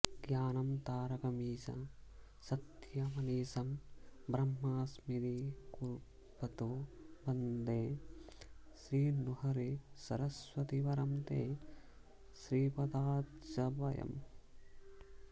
ज्ञानं तारकमीश सत्यमनिशं ब्रह्मन्स्थिरीकुर्वदो वन्दे श्रीनृहरे सरस्वति वरं ते श्रीपदाब्जद्वयम्